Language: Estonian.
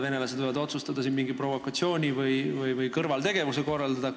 Venelased võivad otsustada siin mingi provokatsiooni või kõrvaltegevuse korraldada.